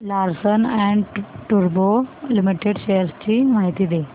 Larsen and टुर्बो limited shares ची माहिती दे